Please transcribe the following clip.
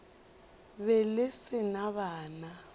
be le se na bana